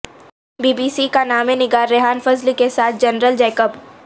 be B C کے نامہ نگار ریحان فضل کے ساتھ جنرل جیکب